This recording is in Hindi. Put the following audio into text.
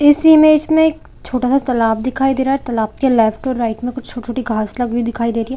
ऐसे इमेज में एक छोटा सा तालाब दिखाई दे रहा है तालाब के अंदर लेफ्ट और राइट में छोटी-छोटी घास भी दिखाई दे रही है।